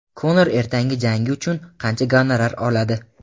Konor ertangi jangi uchun qancha gonorar oladi?.